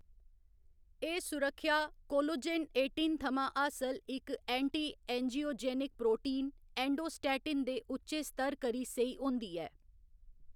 एह्‌‌ सुरक्खेआ collagen eighteen थमां हासल इक एंटी एंजियोजेनिक प्रोटीन, एंडोस्टैटिन दे उच्चे स्तर करी सेही होंदी ऐ।